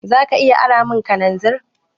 Za ka iya aramun kananzir?